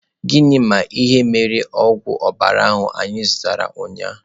Gịnị ma ị nara ogwụ ọbara ahụ anyị zụtara ụnyahụ?